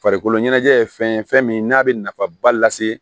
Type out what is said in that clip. Farikolo ɲɛnajɛ ye fɛn ye fɛn min n'a bɛ nafaba lase